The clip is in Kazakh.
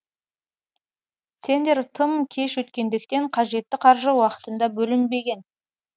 тендер тым кеш өткендіктен қажетті қаржы уақытында бөлінбеген